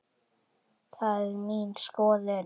Það er mín skoðun.